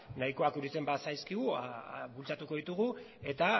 nahikoak iruditzen bazaizkigu bultzatuko ditugu eta